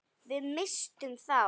Við misstum þá.